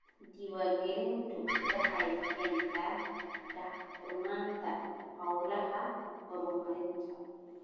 Diiwaangelintu waxay keentaa daahfurnaanta hawlaha horumarinta.